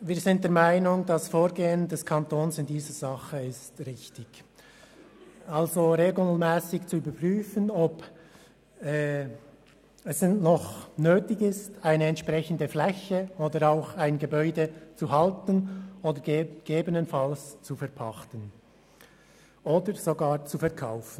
Wir sind der Meinung, das Vorgehen des Kantons sei richtig, das heisst, dass regelmässig überprüft wird, ob es noch nötig ist, eine entsprechende Fläche oder ein Gebäude zu halten beziehungsweise gegebenenfalls zu verpachten oder sogar zu verkaufen.